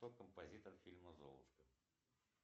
кто композитор фильма золушка